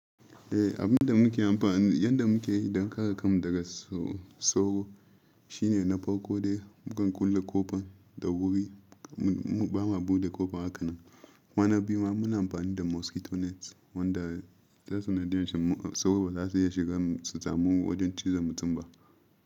Eh, abin da muke amfani, yadda muke yi don kare kanmu daga s-soro shine na farko dai mukan kulle ƙofan da wuri, muɓama buɗe ƙofan haka nan. Kwana biyu ma muna amfani da mosquito net wanda ta sanadi yanshi sauro baza su iya shiga su sami wajen cizon mutum ba.